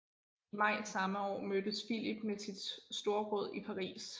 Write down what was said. I maj samme år mødtes Philip med sit storråd i Paris